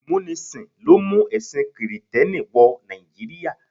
Ìmúnisìn ló mú ẹ̀sìn kìrìtẹ́nì wọ Nàìjíríà.